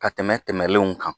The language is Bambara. Ka tɛmɛ tɛmɛnenw kan